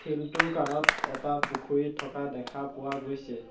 শিলটোৰ কানত এটা পুখুৰী থকা দেখা পোৱা গৈছে।